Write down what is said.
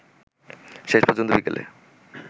শেষপর্যন্ত বিকেলে